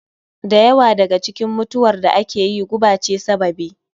Da yawa daga cikin mutuwar da ake yi guba ce sababi